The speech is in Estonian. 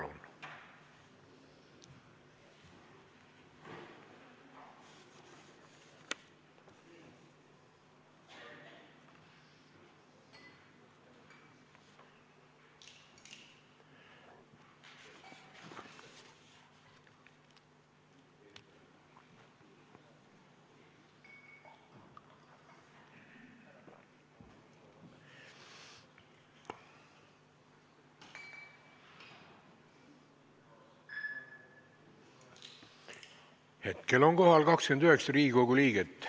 Kohaloleku kontroll Hetkel on kohal 29 Riigikogu liiget.